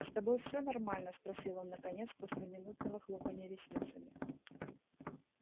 с тобой всё нормально спросил он наконец после минутного хлопанья ресницами